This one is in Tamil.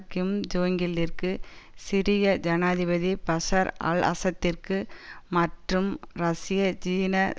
கிம் ஜோங்யில்லிற்கு சிரிய ஜனாதிபதி பஷர் அல்அசத்திற்கு மற்றும் ரஷ்ய ஜீன